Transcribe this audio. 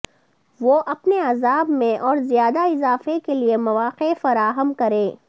وہ اپنے عذاب میں اور زیادہ اضافے کے لئے مواقع فراہم کریں